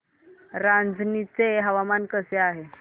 रांझणी चे हवामान कसे आहे